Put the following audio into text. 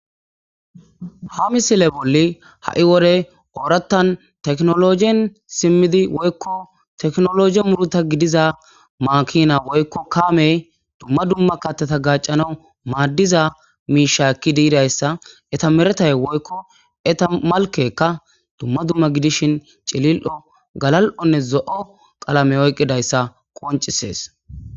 Ha misile bolli ha'i wodey oorattan teknologien simmidi woykko teknologi muruta gidiza maakina woykko kaamey dumma dumma kattata gaccanaw maaddiza miisha ekki diirayssa eta meretay woykko eta malkekka dumma dumma gidishin cilil'o galal7onne zo'o qalame oyqqidayssa qoncisees.